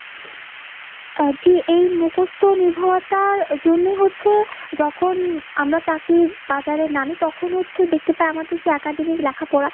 আহ জি এই মুকস্ত নির্ভরতার জন্য হচ্ছে যখন আমরা তাকে বাজারে নামি তখনো হচ্ছে দেখতে পাই আমাদের যেই academy লেখা পড়া